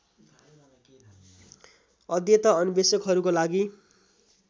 अध्येता अन्वेषकहरूको लागि